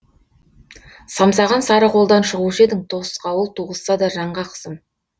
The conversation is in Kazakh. самсаған сары қолдан шығушы едің тосқауыл туғызса да жанға қысым